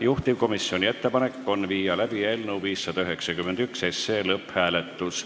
Juhtivkomisjoni ettepanek on viia läbi eelnõu 591 lõpphääletus.